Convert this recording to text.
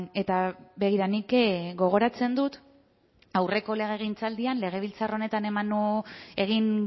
eta begira nik gogoratzen dut aurreko legegintzaldian legebiltzar honetan egin